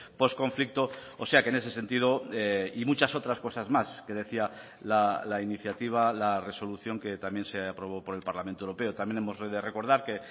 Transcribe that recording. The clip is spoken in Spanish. post conflicto o sea que en ese sentido y muchas otras cosas más que decía la iniciativa la resolución que también se aprobó por el parlamento europeo también hemos de recordar que